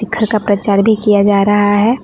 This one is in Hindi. घर का प्रचार भी किया जा रहा है।